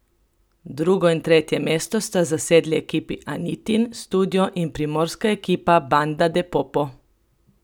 Drugo in tretje mesto sta zasedli ekipi Anitin studio in primorska ekipa Banda de Popo.